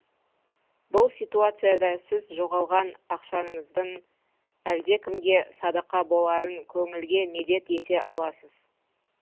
бұл ситуацияда сіз жоғалған ақшаңыздың әлдекімге садақа боларын көңілге медет ете аласыз